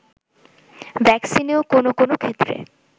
ভ্যাকসিনও কোনো কোনো ক্ষেত্রে